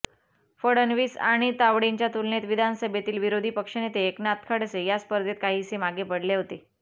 फडणवीस आणि तावडेंच्या तुलनेत विधानसभेतील विरोधी पक्षनेते एकनाथ खडसे या स्पर्धेत काहीसे मागे पडले होते